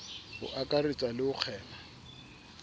ho akaretsa le ho kgema